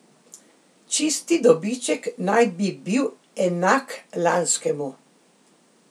Čisti dobiček naj bi bil enak lanskemu.